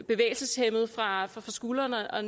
bevægelseshæmmet fra skulderen og